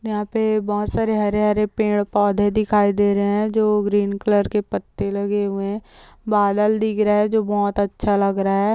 यहाँ पे बहोत सारे हरे-हरे पेड़ पौधे दिखाई दे रहे हैं जो ग्रीन कलर के पत्ते लगे हुए हैं बादल दिख रहा है जो बहोत अच्छा लग रहा है।